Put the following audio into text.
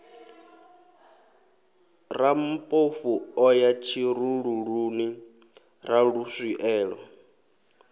rammpofu o ya tshirululuni raluswielo